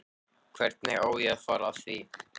Hvernig á ég að fara að því?